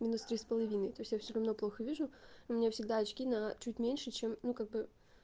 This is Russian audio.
минус три с половиной то есть я всё равно плохо вижу у меня всегда очки на чуть меньше чем ну как бы